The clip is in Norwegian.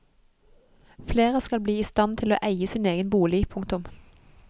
Flere skal bli i stand til å eie sin egen bolig. punktum